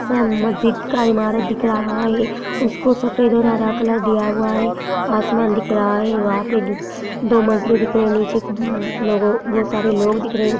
मस्जिद का इमारत दिख रहा है उसको सफ़ेद और हरा कलर दिया हुआ है आसमान दिख रहा है वहां पे दो मजली दिख रहा है नीचे कु हम्म लोगो बहोत सारे लोग दिख रहे है।